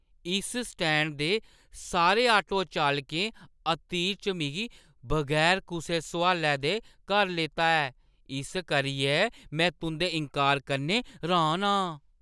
इस स्टैंड दे सारे ऑटो चालकें अतीत च मिगी बगैर कुसै सुआलै दे घर लेता ऐ, इस करियै में तुंʼदे इन्कार कन्नै र्‌हान आं!